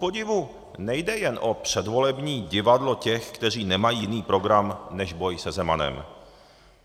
Kupodivu nejde jen o předvolební divadlo těch, kteří nemají jiný program než boj se Zemanem.